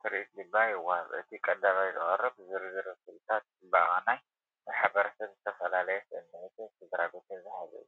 ትርኢት ድማ ይወሃብ። እቲ ቀዳማይ ዝቐርብ ዝርዝር ምስልታት ጽባቐን ናይ ማሕበረሰብን ዝተፈላለየ ስምዒታትን ስድራቤት ዝሓዘ እዩ።